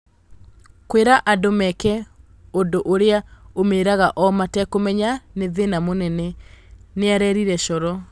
Kwĩra andũ meke ũndũ ũrĩa umĩraga o matekũmenya nĩ thĩna mũnene", nĩarerire Coro